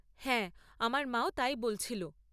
হ্যাঁ, আমার মা ও তাই বলছিল।